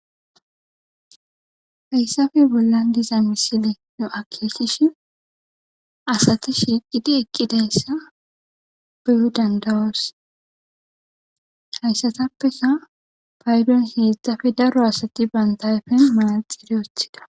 Hayssappe bollan diza misile akeekishin asati shiqidi eqqidayssa be7o danda7oos. Hayssatappe paydon heezappe daro asati banta ayfen manaxire wotida.